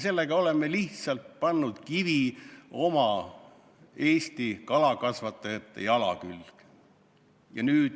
Sellega oleme lihtsalt pannud kivi Eesti kalakasvatajate jala külge.